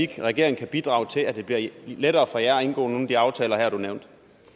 kan bidrage til at det bliver lettere for jer at indgå nogle af de aftaler du her nævnte